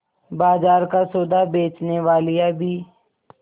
बाजार का सौदा बेचनेवालियॉँ भी